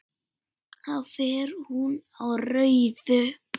Þá fer hún á rauðu.